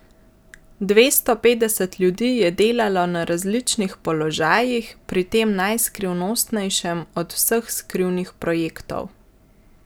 Dvesto petdeset ljudi je delalo na različnih položajih pri tem najskrivnostnejšem od vseh skrivnih projektov.